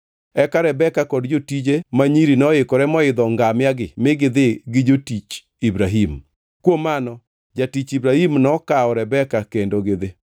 Eka Rebeka kod jotije ma nyiri noikore moidho ngamia-gi mi gidhi gi jatich Ibrahim. Kuom mano jatich Ibrahim nokawo Rebeka kendo gidhi.